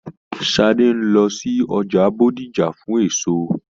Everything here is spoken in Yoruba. Sadé n lọ sí ọjà Bódìjà fún èso.